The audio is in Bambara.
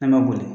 An ma boli